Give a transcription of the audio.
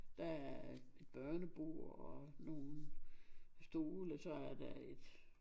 Der er et børnebord og nogle stole og så er der et